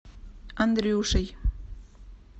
андрюшей